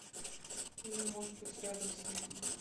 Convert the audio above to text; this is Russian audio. или может быть рядом с ним